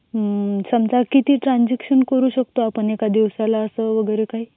समझ किती ट्रांझॅक्शन करू शकतो एका दिवसाला असा वगैरे काही.